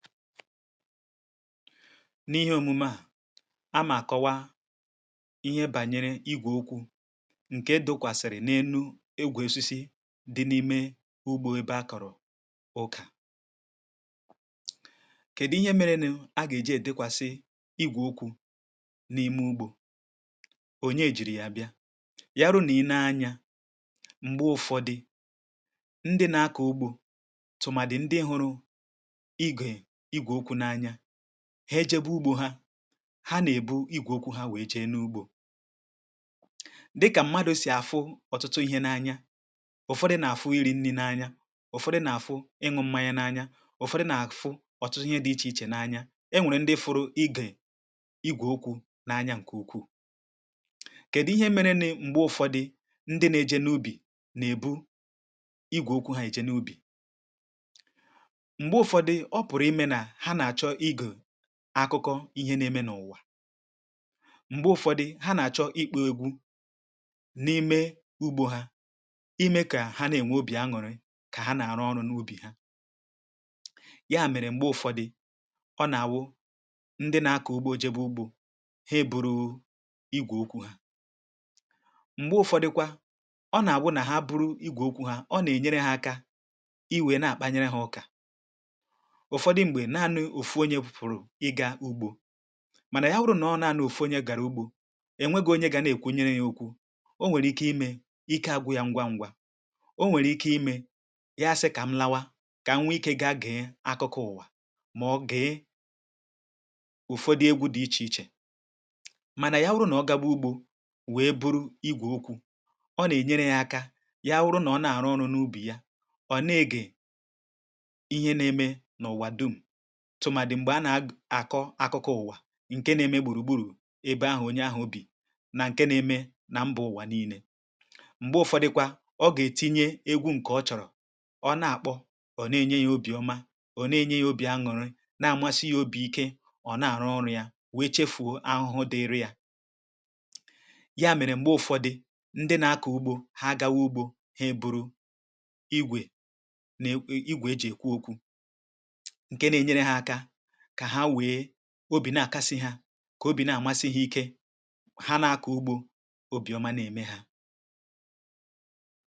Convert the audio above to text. N’ihe òmume à amà kọwa ihe bànyere igwè okwu ǹke dụkwàsị̀rị̀ n’enu igwe osisi̇ dị n’ime ugbȯ ebe akọ̀rọ̀ ụkà, kèdi ihe mere nụ̇ a gà-èji èdịkwàsị igwè okwu̇ n’ime ugbȯ ò nye jìrì yà bịa, yà wuru nà i nee anyȧ m̀gbe ụ̀fọdị̀ ndị nà-akọ̀ ugbȯ tùmàdì ndị hụrụ̇ igwe igwe okwu na-anya ha ejėbe ugbȯ ha, ha nà-èbu igwòkwu ha nwèe jee n’ugbȯ dịkà mmadụ̀ sì àfụ ọtụtụ ihe n’anya ụ̀fọdụ nà-àfụ iri̇ nni n’anya, ụ̀fọdụ nà-àfụ ịṅụ̇ mmȧ ya n’anya, ụ̀fọdụ nà-àfụ ọ̀tụtụ ihe dị ichè ichè n’anya, e nwèrè ndị fụrụ igè igwòkwu n’anya ǹkè ukwuù. kèdụ ihe mere ni m̀gbe ụ̀fọdụ ndị na-eje n’ubì nà-èbu igwòkwu ha eje n’ubì, mgbe ụfọdụ ọpuru ime na ha nà-àchọ ige akụkọ ihe na-eme n’ụwà, mgbe ụfọdụ̀ ha na-achọ̀ ikpo egwu̇ na-ime ugbȯ ha ime kà ha na-enwe obì aṅụ̀rị kà ha na-arụ ọrụ̇ n’ubì ha, ya mèrè mgbe ụfọdụ̀ ọ nà-àwụ ndị na-akọ̀ ugbȯ jebe ugbȯ ha e buru igwè okwu̇ ha. Mgbe ụfọdụ̀kwà ọ nà-àbụ nà ha buru igwè okwu̇ ha ọ nà-enyere ha akȧ iwè na-àkpanyere ha ụkà, ụfọdụ mgbe nanị ofu onye fụ̀rụ̀ ịga ugbȯ mànà ya wụrụ nà ọ nanị ofu onye gara ụgbọ ọ nwegu onye ga na-ekwunyere ya ókwú, ọ nwere ike ime ike agwu ya ngwa ngwa, ọ nwèrè ike ime ya si kamu lawa ka wee ike ga gee akụkọ ụwa maòbù gee ụfọdụ égwu dị iche iche. Mana ya wụrụ nà ọ gawa ugbo wee bụrụ igwe okwu ọ na-enyere ya aka ya wụrụ na ọ na-àrụ ọrụ n’ubì ya ọ̀ na-ege ihe na-eme n’ụ̀wà dum tụmadi mgbe a na-akọ akụkọ ụwa ǹke nȧ-eme gbùrùgburù ebe ahụ̀ onye ahụ̀ bì nà ǹke nȧ-eme na mbà ụ̀wà nii̇nė. Mgbe ụ̀fọdịkwa ọ gà-ètinye egwu̇ ǹkè ọ chọ̀rọ̀ ọ na-àkpọ ọ̀ na-enye ya obì ọma ọ̀ na-enye ya obì aṅụrị na-àmasị ya obì ike ọ̀ na-àrụ oru ya wee chefùo ahụhụ dịri̇ yȧ, ya mèrè m̀gbe ụ̀fọdị ndị na-akọ̀ ugbȯ ha gawa ugbȯ ha eburu igwè na igwè e jì èkwu okwu nke na-enyere ha aka ka ha wee obi nà-àkasị hȧ kà obì nà-àmasị hȧ ike ha n’ȧkụ̀ ugbȯ obìọma nà-ème hȧ.